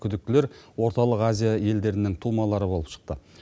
күдіктілер орталық азия елдерінің тумалары болып шықты